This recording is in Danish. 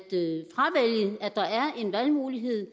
der er en valgmulighed